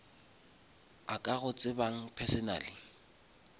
a ka go tsebang personally